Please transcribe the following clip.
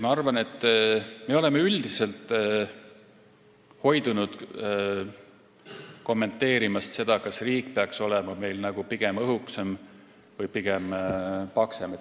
Ma arvan, et me oleme üldiselt hoidunud kommenteerimast seda, kas meie riik peaks olema pigem õhuke või paksem.